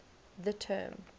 the term